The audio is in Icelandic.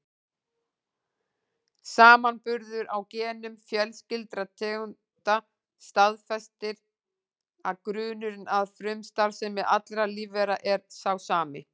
Samanburður á genum fjarskyldra tegunda staðfestir að grunnurinn að frumustarfsemi allra lífvera er sá sami.